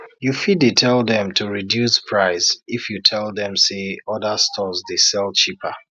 you fit dey tell dem to reduce price if you tell dem say other stores dey sell cheaper